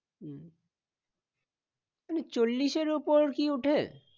হম মানে চল্লিশ এর ওপর কি উঠে?